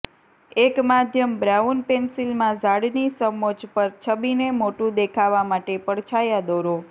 એક માધ્યમ બ્રાઉન પેન્સિલમાં ઝાડની સમોચ્ચ પર છબીને મોટું દેખાવા માટે પડછાયા દોરો